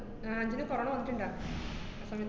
ആഹ് അഞ്ജുന് corona വന്നിട്ട്ണ്ടാ? ആ സമയത്ത്